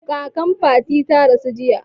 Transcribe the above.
Kakan Fatima ta rasu jiya.